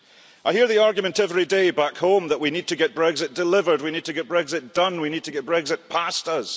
I hear the argument every day back home that we need to get Brexit delivered, we need to get Brexit done, we need to get Brexit past us.